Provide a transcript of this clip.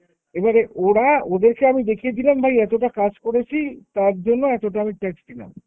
এবারে ওরা ওদেরকে আমি দেখিয়ে দিলাম ভাই আমি এতটা কাজ করেছি তার জন্য এতটা আমি tax দিলাম।